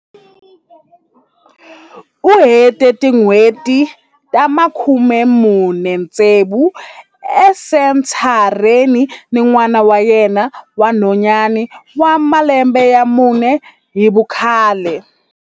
U hete tin'hweti ta 46 esentha reni ni n'wana wa yena wa nhwanyana wa malembe ya mune hi vukhale.